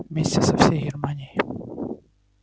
вместе со всей германией